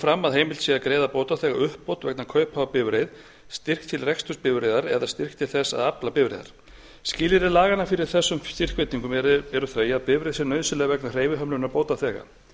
fram að heimilt sé að greiða bótaþega uppbót vegna kaupa á bifreið styrk til reksturs bifreiðar eða styrk til þess að afla bifreiðar skilyrði laganna fyrir þessum styrkveitingum eru þau að bifreið sé nauðsynleg vegna hreyfihömlunar bótaþega